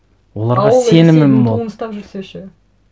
оларға сенімім мол туын ұстап жүрсе ше